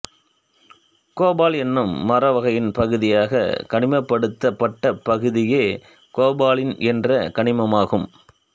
கோபல் என்னும் மரவகையின் பகுதியாக கனிமப்படுத்தப்பட்ட பகுதியே கோபலின் என்ற கனிமமாகும்